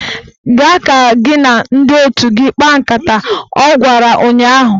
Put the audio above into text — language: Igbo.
Gaa ka gị na ndị otu gị kpaa nkata! Ọ gwara ụnyaahụ